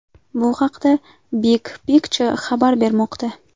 Bu haqda Big Picture xabar bermoqda .